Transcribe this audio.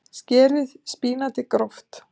Skerið spínatið gróft.